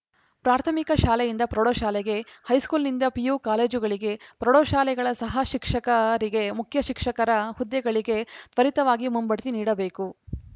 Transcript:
ಪ್ರಾಥಮಿಕ ಶಾಲೆಯಿಂದ ಪ್ರೌಢಶಾಲೆಗೆ ಹೈಸ್ಕೂಲ್‌ನಿಂದ ಪಿಯು ಕಾಲೇಜುಗಳಿಗೆ ಪ್ರೌಢಶಾಲೆಗಳ ಸಹ ಶಿಕ್ಷಕರಿಗೆ ಮುಖ್ಯ ಶಿಕ್ಷಕರ ಹುದ್ದೆಗಳಿಗೆ ತ್ವರಿತವಾಗಿ ಮುಂಬಡ್ತಿ ನೀಡಬೇಕು